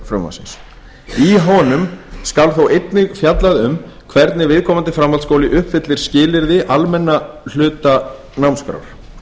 frumvarpsins í honum skal þó einnig fjallað um hvernig viðkomandi framhaldsskóli uppfyllir skilyrði almenna hluta námskrár